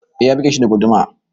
Ee ya buge shi da guduma.